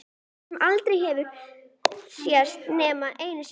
Sem aldrei hafa sést nema einu sinni.